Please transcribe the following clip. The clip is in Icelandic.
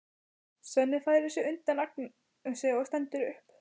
Svenni færir sig undan Agnesi og stendur upp.